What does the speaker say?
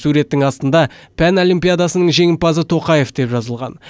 суреттің астында пән олимпиадасының жеңімпазы тоқаев деп жазылған